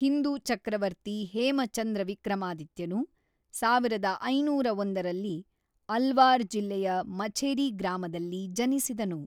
ಹಿಂದೂ ಚಕ್ರವರ್ತಿ ಹೇಮ ಚಂದ್ರ ವಿಕ್ರಮಾದಿತ್ಯನು ಸಾವಿರದ ಐನೂರ ಒಂದರಲ್ಲಿ ಅಲ್ವಾರ್ ಜಿಲ್ಲೆಯ ಮಛೇರಿ ಗ್ರಾಮದಲ್ಲಿ ಜನಿಸಿದನು.